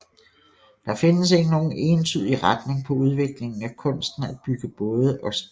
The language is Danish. Der findes ikke nogen entydig retning på udviklingen af kunsten at bygge både og skibe